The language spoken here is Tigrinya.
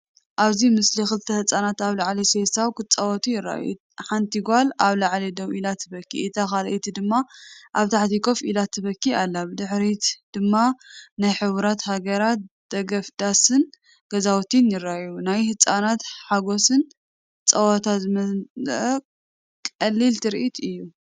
ኣብዚ ምስሊ ክልተ ህጻናት ኣብ ልዕሊ ሴሳው ክጻወቱ ይረኣዩ። ሓንቲ ጓል ኣብ ላዕሊ ደው ኢላ ትበኪ፡እታ ካልኣይቲ ድማ ኣብ ታሕቲ ኮፍ ኢላ ትበኪ ኣላ። ብድሕሪት ድማ ናይ ሕቡራትሃገራት ደገፍ ዳስን ገዛውትን ይረኣዩ። ናይ ህጻናት ሓጎስን ጸወታንዝመልአ ቀሊልትርኢት እዩ።